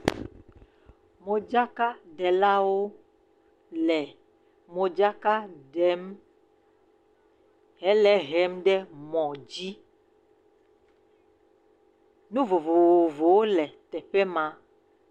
Modzakaɖelawo le modzaka ɖem hele hem ɖe mɔ dzi, nu vovovowo le teƒe ma.